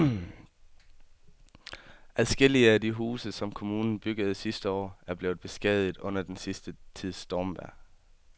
Adskillige af de huse, som kommunen byggede sidste år, er blevet beskadiget under den sidste tids stormvejr.